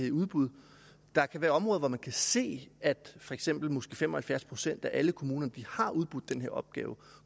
i udbud der kan være områder hvor man kan se at for eksempel måske fem og halvfjerds procent af alle kommuner har udbudt den her opgave